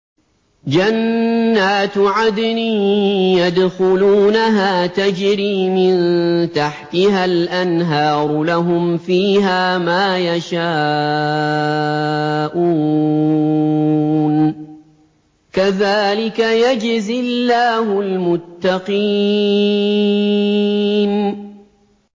جَنَّاتُ عَدْنٍ يَدْخُلُونَهَا تَجْرِي مِن تَحْتِهَا الْأَنْهَارُ ۖ لَهُمْ فِيهَا مَا يَشَاءُونَ ۚ كَذَٰلِكَ يَجْزِي اللَّهُ الْمُتَّقِينَ